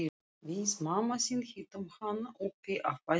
Við mamma þín hittum hann uppi á fæðingardeild.